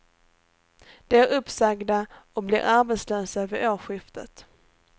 De är uppsagda och blir arbetslösa vid årsskiftet.